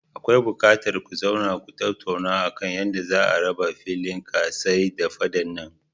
Akwai buƙatar ku zauna ku tattauna akan yadda za'a raba filin ka tsai da faɗan nan.